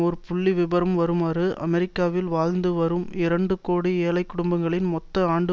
ஓர் புள்ளி விபரம் வருமாறு அமெரிக்காவில் வாழ்ந்து வரும் இரண்டு கோடி ஏழைக்குடும்பங்களின் மொத்த ஆண்டு